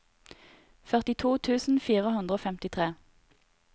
førtito tusen fire hundre og femtitre